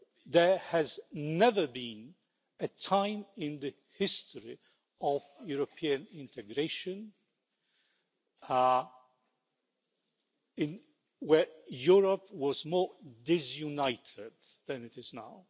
There has never been a time in the history of European integration where Europe was more disunited than it is now.